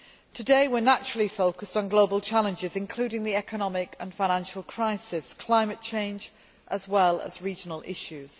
Today we are naturally focused on global challenges, including the economic and financial crisis and climate change, as well as regional issues.